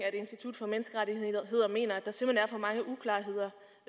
at institut for menneskerettigheder mener at der simpelt hen er for mange uklarheder